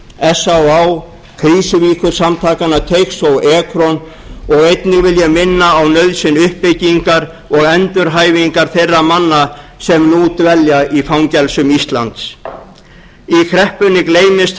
s á á krísuvíkursamtakanna eins og ekron og einnig vil ég minna á nauðsyn uppbyggingar og endurhæfingar þeirra manna sem nú dvelja í fangelsum íslands í kreppunni gleymist